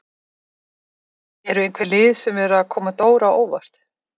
Eru einhver lið sem eru að koma Dóru á óvart?